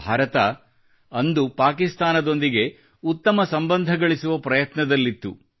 ಭಾರತ ಅಂದು ಪಾಕಿಸ್ತಾನದೊಂದಿಗೆ ಉತ್ತಮ ಸಂಬಂಧಗಳಿಸುವ ಪ್ರಯತ್ನದಲ್ಲಿತ್ತು